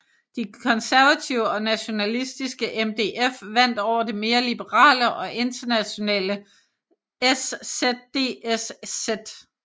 De konservative og nationalistiske MDF vandt over det mere liberale og internationale SzDSz